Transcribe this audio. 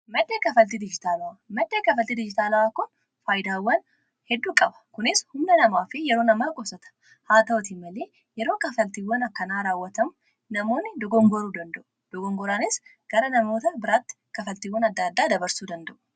maddee kafaltii diijitaalaaa kon faayidaawwan hedduu qaba kunis humna namaa fi yeroo namaa gossata haa ta'otin malee yeroo kafaltiiwwan akkanaa raawwatamu namoonni dogongoruu danda'u dogongoraanis gara namoota biraatti kafaltiiwwan adda addaa dabarsuu danda'u